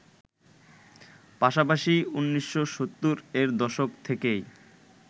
পাশাপাশি ১৯৭০এর দশক থেকেই